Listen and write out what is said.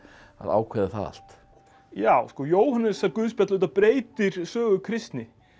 ákveða það allt já sko Jóhannesarguðspjall auðvitað breytir sögu kristni